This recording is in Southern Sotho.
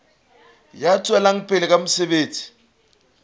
ya tswelang pele ka mosebetsi